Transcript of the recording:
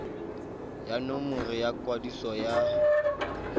ya nomoro ya kwadiso ya